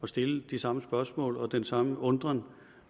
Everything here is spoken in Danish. stille de samme spørgsmål og udtrykke den samme undren